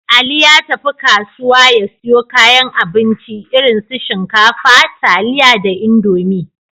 Ali ya tafi kasuwa ya siyo kayan abinci, irin su shinkafa, taliya da Indomi.